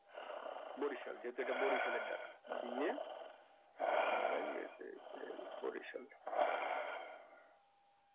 বরিশাল যেহেতু এটা বরিশালের data দিয়ে আর আহ বরিশাল